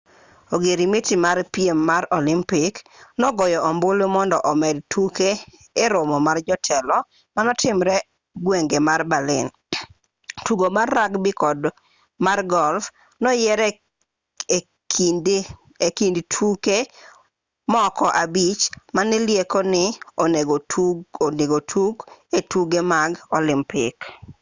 ogirmiti mar piem mar olimpik nogoyo ombulu mondo omed tuke e romo mar jotelo manotimre gwenge ma berlin ttugo mar rugby kod mar golf noyier e kind tuke moko abich manilieko ni onegotug e tuke mag olimpik